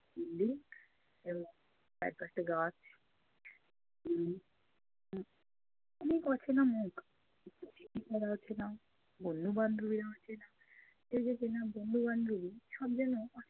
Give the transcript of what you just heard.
building এবং চারপাশটা গাছ অনেক অচেনা মুখ! অচেনা, বন্ধু-বান্ধবীরা অচেনা। এই যে চেনা বন্ধু -বান্ধবী সব যেনো